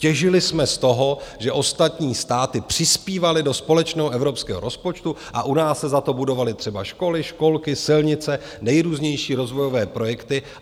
Těžili jsme z toho, že ostatní státy přispívaly do společného evropského rozpočtu a u nás se za to budovaly třeba školy, školky, silnice, nejrůznější rozvojové projekty.